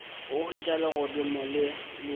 a hwetša legodimo le le